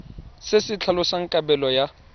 se se tlhalosang kabelo ya